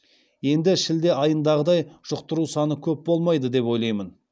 енді шілде айындағыдай жұқтыру саны көп болмайды деп ойлаймын